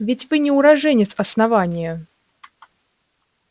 ведь вы не уроженец основания